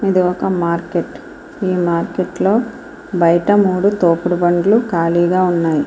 ఇది ఒక మార్కెట్ ఈ మార్కెట్లో బయట మూడు తోపుడు బండ్లు కాలీగా ఉన్నాయి.